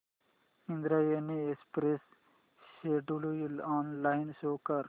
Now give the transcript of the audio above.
Indrayani express schedule online show कर